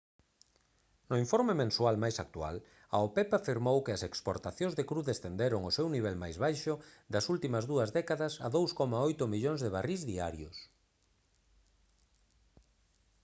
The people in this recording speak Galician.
no informe mensual máis actual a opep afirmou que as exportacións de cru descenderon ao seu nivel máis baixo das últimas dúas décadas a 2,8 millóns de barrís diarios